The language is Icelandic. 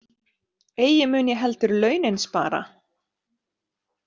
Eigi mun ég heldur launin spara.